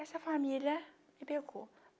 Essa família me pegou.